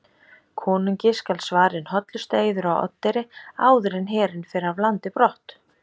Konungi skal svarinn hollustueiður á Oddeyri áður en herinn fer af landi brott.